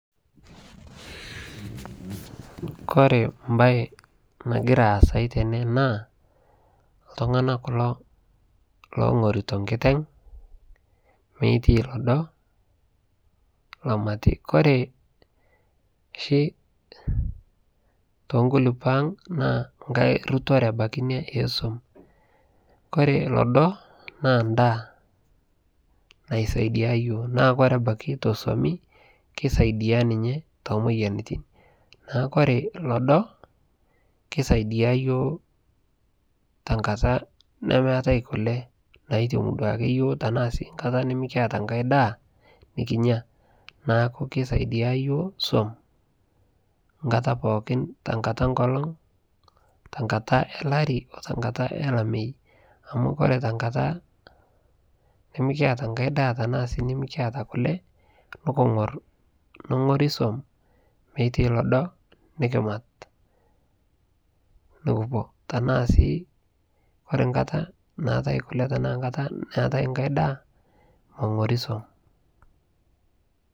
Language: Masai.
kore mbai nagiraa aasai tenee naa ltunganaa kuloo longoritoo nkiteng, meitai lodoo lomatii kore shii tonkulupoo aang naa nghai rutoree abakii inia eee som, kore lodoo naa ndaa naisaidia yooh naa kore abakii te somii keisaidia ninyee to moyanitin, naaku kore lodoo keisaidia yooh tankataa nemeatai kulee naitemuu duake yooh tanaaa sii nkataa nimikiata ng'hai daa nikinyaa, naaku keisidia yooh som nkataa pookin te nkataa ee nkolong te nkataa ee larii oo tankataa eee lamei. Amu kore tankataa nimikiata ng'hai daa tana sii nimikiataa kulee nukungor nongorii som meitai lodoo nikimat nukupuo, tanaa sii kore nkataa naatai kulee tanaa nkataa naatai ng'hai daa mongorii som.